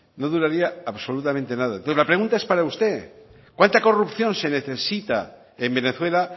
no duraría absolutamente nada entonces la pregunta es para usted cuánta corrupción se necesita en venezuela